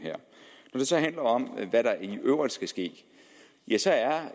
når det så handler om hvad der i øvrigt skal ske ja så er